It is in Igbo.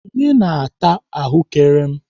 Onye na-ata ahụ́kere m?